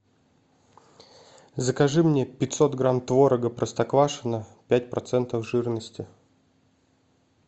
закажи мне пятьсот грамм творога простоквашино пять процентов жирности